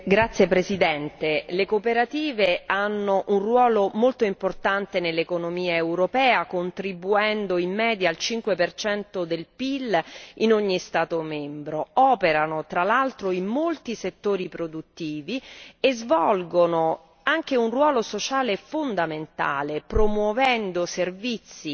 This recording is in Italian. Signor Presidente, onorevoli colleghi, le cooperative svolgono un ruolo molto importante nell'economia europea contribuendo in media al 5 del PIL in ogni Stato membro. Esse operano, tra l'altro, in molti settori produttivi e svolgono inoltre un ruolo sociale fondamentale promuovendo servizi